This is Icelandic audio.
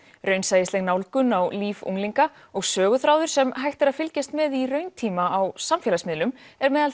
raunsæisleg nálgun á líf unglinga og söguþráður sem hægt er að fylgjast með í rauntíma á samfélagsmiðlum er meðal